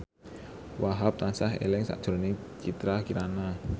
Wahhab tansah eling sakjroning Citra Kirana